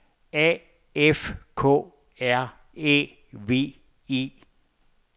A F K R Æ V E